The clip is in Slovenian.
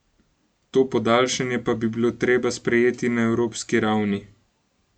To podaljšanje pa bi bilo treba sprejeti na evropski ravni.